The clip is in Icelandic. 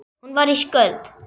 Hún var ísköld.